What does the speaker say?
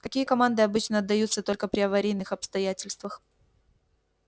какие команды обычно отдаются только при аварийных обстоятельствах